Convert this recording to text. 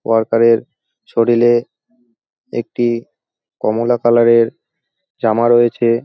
Worker এর শরীরে একটি কমলা কালার এর জামা রয়েছে।